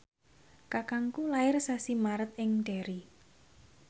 kakangku lair sasi Maret ing Derry